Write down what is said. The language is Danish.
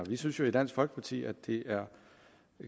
vi synes jo i dansk folkeparti at det er